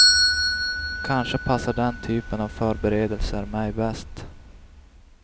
Kanske passar den typen av förberedelser mig bäst.